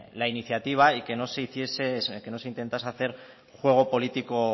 la iniciativa y que no se intentase hacer juego político